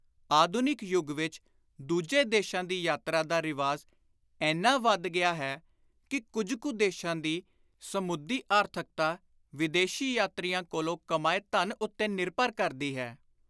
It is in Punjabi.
ਆਧੁਨਿਕ ਯੁਗ ਵਿਚ ਦੂਜੇ ਦੇਸ਼ਾਂ ਦੀ ਯਾਤਰਾ ਦਾ ਰਿਵਾਜ ਏਨਾ ਵਧ ਗਿਆ ਹੈ ਕਿ ਕੁਝ ਕੁ ਦੇਸ਼ਾਂ ਦੀ ਸਮੁੱਦੀ ਆਰਥਕਤਾ ਵਿਦੇਸ਼ੀ ਯਾਤਰੀਆਂ ਕੋਲੋਂ ਕਮਾਏ ਧਨ ਉੱਤੇ ਨਿਰਭਰ ਕਰਦੀ ਹੈ।